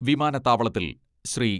വിമാനത്താവളത്തിൽ ശ്രീ.